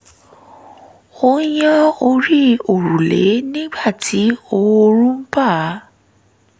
ó yán orí òrùlé nígbà tí oòrùn bá